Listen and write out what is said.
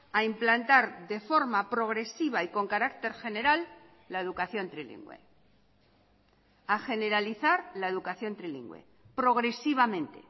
a implantar de forma progresiva y con carácter general la educación trilingüe a generalizar la educación trilingüe progresivamente